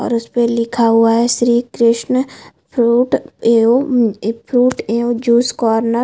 और उसपे लिखा हुआ है श्री कृष्ण फ्रूट एव म फ्रूट एव जूस कॉर्नर --